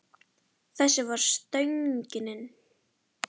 Þessi var stöngin inn.